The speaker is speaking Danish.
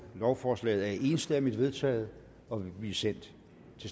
lovforslaget er enstemmigt vedtaget og vil nu blive sendt